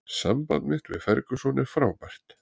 Samband mitt við Ferguson er frábært